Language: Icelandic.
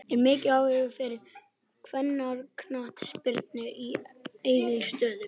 Er mikill áhugi fyrir kvennaknattspyrnu á Egilsstöðum?